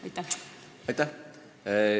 Aitäh!